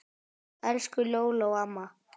Elsku Lóló amma.